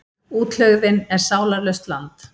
Útlegðin er sálarlaust land.